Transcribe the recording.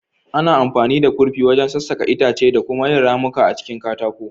Ana amfani da kurfi wajen sassaka itace da kuma yin ramuka a cikin katako.